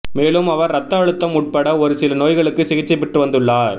மேலும் அவர் ரத்த அழுத்தம் உட்பட ஒரு சில நோய்களுக்கு சிகிச்சை பெற்று வந்துள்ளார்